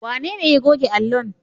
Wanene ya goge allon?